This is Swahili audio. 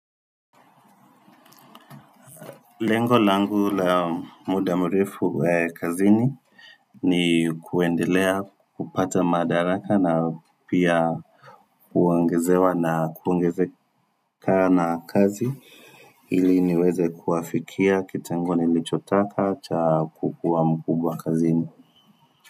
Lengo langu la muda mrefu kazini ni kuendelea kupata madaraka na pia kuongezewa na kuongezeka na kazi ili niweze kuafikia kitengo nilichotaka cha kukuwa mkubwa kazini.